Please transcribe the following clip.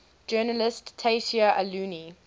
journalist tayseer allouni